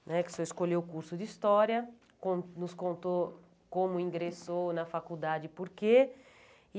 né que o senhor escolheu o curso de História, con nos contou como ingressou na faculdade e por quê.